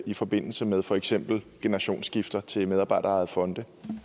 i forbindelse med for eksempel generationsskifte til medarbejderejede fonde